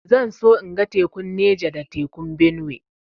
Zan so in ga tekun Neja da tekun Benue